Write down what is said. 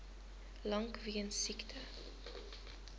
lank weens siekte